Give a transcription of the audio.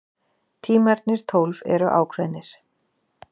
Tímarnir tólf eru ákveðnir.